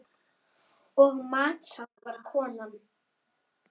Og matsár var konan.